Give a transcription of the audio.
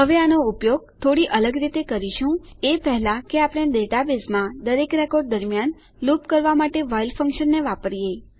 હવે આનો ઉપયોગ થોડી અલગ રીતે કરીશું એ પહેલા કે આપણે ડેટાબેઝમાં દરેક રેકોર્ડ દરમ્યાન લૂપ કરવા માટે વ્હાઇલ ફંક્શનને વાપરીએ